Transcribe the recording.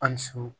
Ali su